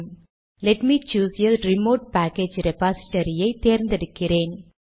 let me choose a remote package repository ஐ தேர்ந்தெடுக்கிறேன்